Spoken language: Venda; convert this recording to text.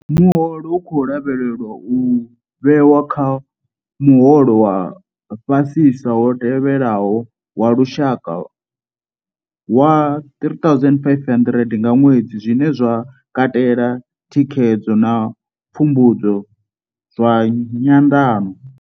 Muholo u khou lavhelelwa u vhewa kha muholo wa fha sisa wo tewaho wa lushaka wa R3 500 nga ṅwedzi, zwine zwa katela thikhedzo na pfumbudzo zwa nyanḓano.